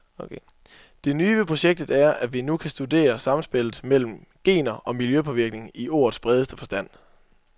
Det nye ved projektet er, at vi nu kan studere samspillet mellem gener og miljøpåvirkninger i ordets bredeste forstand.